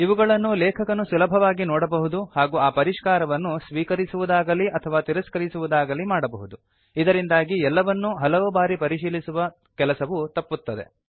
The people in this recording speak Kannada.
ಇವುಗಳನ್ನು ಲೇಖಕನು ಸುಲಭವಾಗಿ ನೋಡಬಹುದು ಹಾಗೂ ಆ ಪರಿಷ್ಕಾರವನ್ನು ಸ್ವೀಕರಿಸುವುದಾಗಲಿ ಅಥವಾ ತಿರಸ್ಕರಿಸುವುದಾಗಲೀ ಮಾಡಬಹುದು ಇದರಿಂದಾಗಿ ಎಲ್ಲವನ್ನೂ ಹಲವು ಬಾರಿ ಪರಿಶೀಲಿಸುವ ಕೆಲಸವು ತಪ್ಪುತ್ತದೆ